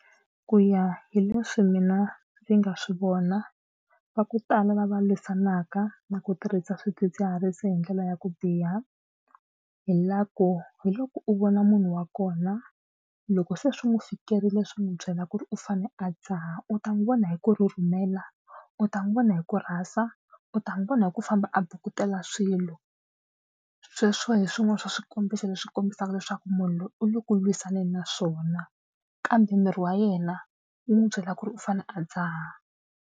Ku ya hi leswi mina ndzi nga swi vona va ku tala lava lwisanaka na ku tirhisa swidzidziharisi hi ndlela ya ku biha hi la ku hi loko u vona munhu wa kona loko se swi n'wi fikerile swi n'wi byela ku ri u fane a dzaha u ta n'wi vona hi ku rhurhumela, u ta n'wi vona hi ku rhasa, u ta n'wi vona hi ku famba a bukutela swilo sweswo hi swin'wana swa swikombiso leswi kombisaka leswaku munhu loyi u le ku lwisaneni na swona kambe miri wa yena yi n'wi byela ku ri u fane a dzaha.